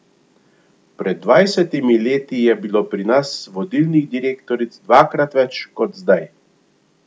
Pred dvajsetimi leti je bilo pri nas vodilnih direktoric dvakrat več kot zdaj.